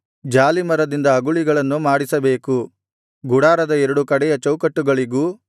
ಜಾಲೀಮರದಿಂದ ಅಗುಳಿಗಳನ್ನು ಮಾಡಿಸಬೇಕು ಗುಡಾರದ ಎರಡು ಕಡೆಯ ಚೌಕಟ್ಟುಗಳಿಗೂ